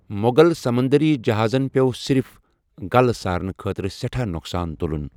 مۄغل سمندٔری جہازن پیٛوٚو صرف غلہٕ سارنہٕ خٲطرٕ سٮ۪ٹھاہ نۄقصان تُلُن۔